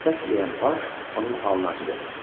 Kötək yeyən paj onun halına acıdı.